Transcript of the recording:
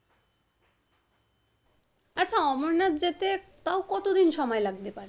আচ্ছা অমরনাথ যেতে তাও কত দিন সময় লাগতে পারে?